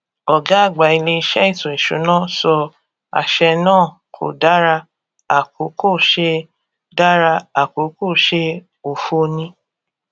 ọgá àgbà ilé ìṣe ètò ìsúná sọ àṣẹ náà kò dára àkókò ṣe dára àkókò ṣe òfo ni